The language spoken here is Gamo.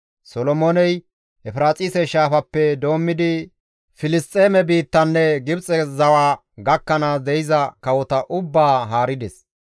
Solomooney Efiraaxise Shaafappe doommidi Filisxeeme biittanne Gibxe zawa gakkanaas de7iza kawota ubbaa haarides.